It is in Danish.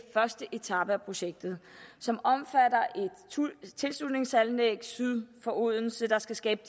første etape af projektet som omfatter et tilslutningsanlæg syd om odense der skal skabe